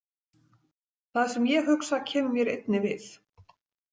Það sem ég hugsa kemur mér einni við.